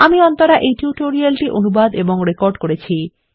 আমি অন্তরা এই টিউটোরিয়াল টি অনুবাদ এবং রেকর্ড করেছি